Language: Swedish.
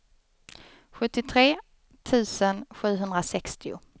sjuttiotre tusen sjuhundrasextio